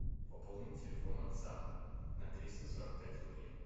пополни телефон отца на триста сорок пять рублей